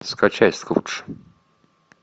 скачай скрудж